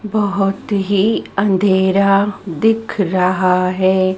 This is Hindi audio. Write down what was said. बहोत ही अंधेरा दिख रहा है।